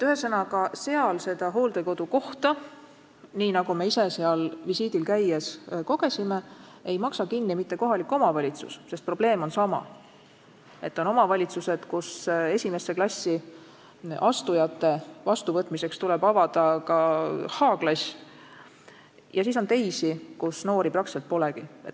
Hollandis ei maksa hooldekodukohta kinni mitte kohalik omavalitsus, sest probleem on sama: on omavalitsused, kus esimesse klassi astujate vastuvõtmiseks tuleb avada ka näiteks h-klass, ja on teised, kus lapsi ja noori peaaegu polegi.